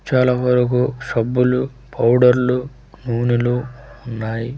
చాలా వరకు షబ్బులు పౌడర్ లు నూనెలు ఉన్నాయి.